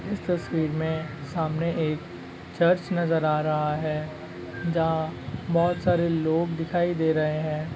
इस तस्वीर में सामने एक चर्च नजर आ रहा है जहाँ बहुत सारे लोग दिखाई दे रहे हैं।